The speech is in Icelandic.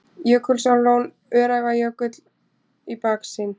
Jökulsárlón og Öræfajökull í baksýn.